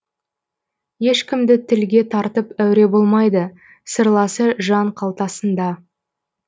ешкімді тілге тартып әуре болмайды сырласы жан қалтасында